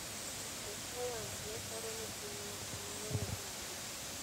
Josayans ne paro ni piny ma kamano ne onge